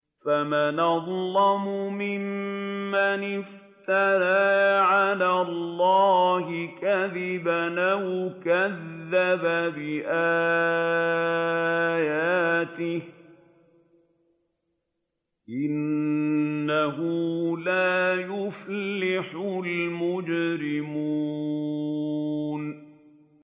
فَمَنْ أَظْلَمُ مِمَّنِ افْتَرَىٰ عَلَى اللَّهِ كَذِبًا أَوْ كَذَّبَ بِآيَاتِهِ ۚ إِنَّهُ لَا يُفْلِحُ الْمُجْرِمُونَ